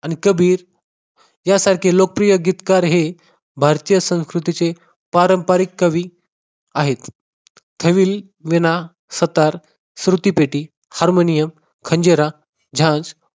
आणि कबीर यासारखे लोकप्रिय गीतकार हे भारतीय संस्कृतीचे पारंपरिक कवी आहेत. family वीणा, सतार, श्रुतिपेटी, हार्मोनियम, खंजिरा, झांज